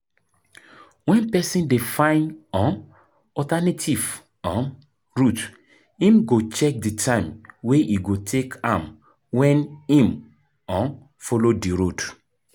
When person dey find um alternative um route im go check di time wey e go take am when im um follow di road